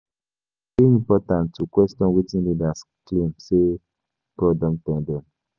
E dey important to question wetin leaders claim say God don tell dem.